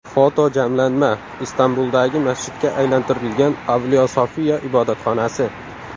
Fotojamlanma: Istanbuldagi masjidga aylantirilgan Avliyo Sofiya ibodatxonasi.